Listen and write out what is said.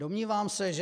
Domnívám se, že...